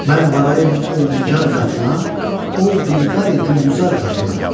Mən varayım ol nigar qatına, ol dilbəri gülzar qatına.